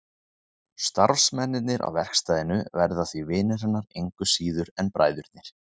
Starfsmennirnir á verkstæðinu verða því vinir hennar engu síður en bræðurnir.